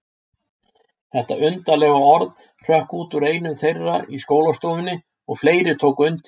Þetta undarlega orð hrökk út úr einum þeirra í skólastofunni og fleiri tóku undir.